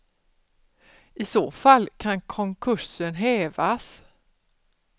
I så fall kan konkursen hävas.